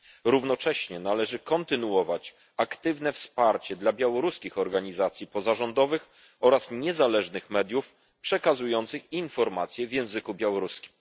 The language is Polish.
Równocześnie należy kontynuować aktywne wsparcie dla białoruskich organizacji pozarządowych oraz niezależnych mediów przekazujących informacje w języku białoruskim.